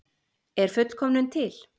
Er fullkomnun til?